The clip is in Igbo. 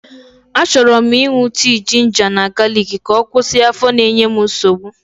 Achọrọ m ịṅụ tii jinja na galiki ka ọ kwụsị afọ na-enye m nsogbu.